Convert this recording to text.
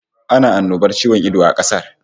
Ana annobar ciwon ido a kasar